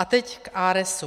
A teď k ARESu.